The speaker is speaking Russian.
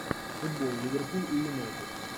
футбол ливерпуль и юнайтед